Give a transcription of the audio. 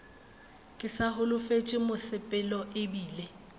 ke sa holofetše mosepelo ebile